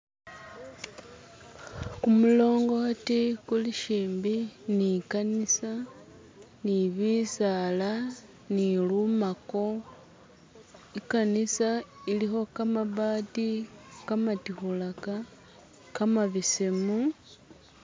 Kumulongoti kulishimbi ni kanisa ni bisala ni lumako, i'kanisa ilikho mabati kamatikhulaka kamabesemu.